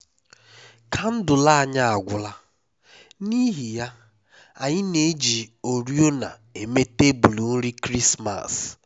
kandụl anyi agwụla n’ihi ya anyị na-eji oriọna eme tebụl nri krismas